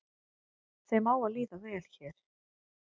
Þeim á að líða vel hér